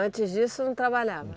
Antes disso, não trabalhava?